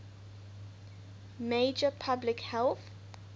major public health